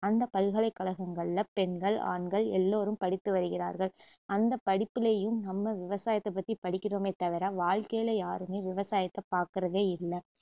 அந்த பல்கலைக்கழகங்ககில பெண்கள், ஆண்கள் எல்லோரும் படித்து வருகிறார்கள் அந்த படிப்பிலேயும் நம்ம விவசாயத்தபத்தி படிக்கிறோமே தவிற வாழ்க்கையில யாருமே விவசாயத்த பாக்குறதே இல்ல